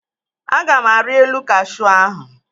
Aga m arị elu kashuu ahụ